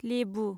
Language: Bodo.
लेबु